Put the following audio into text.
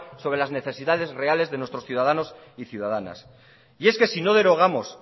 sobre las necesidades reales de nuestros ciudadanos y ciudadanas y es que sino derogamos